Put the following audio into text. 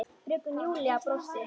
Fröken Júlía brosti.